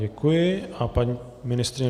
Děkuji a paní ministryně